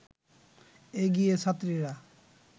এগিয়ে ছাত্রীরা